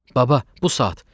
Baba, bu saat.